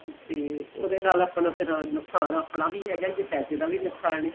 ਤੇ ਉਹਦੇ ਨਾਲ ਆਪਣਾਂ ਫ਼ੇਰ ਨੁਕਸ਼ਾਨ ਆਪਣਾਂ ਵੀ ਹੈਗਾ ਏ ਪੈਸੇ ਦਾ ਵੀ ਨੁਕਸ਼ਾਨ ਏ